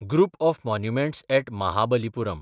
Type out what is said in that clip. group of monuments at Mahabalipuram